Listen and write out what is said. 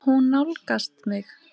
Hún nálgast mig.